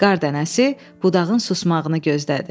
Qar dənəsi budağın susmağını gözlədi.